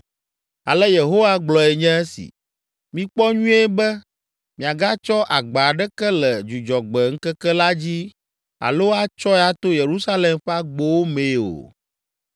Ale Yehowa gblɔe nye esi: ‘Mikpɔ nyuie be miagatsɔ agba aɖeke le Dzudzɔgbe ŋkeke la dzi alo atsɔe ato Yerusalem ƒe agbowo mee o.